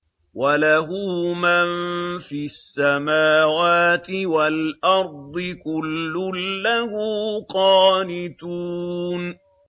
وَلَهُ مَن فِي السَّمَاوَاتِ وَالْأَرْضِ ۖ كُلٌّ لَّهُ قَانِتُونَ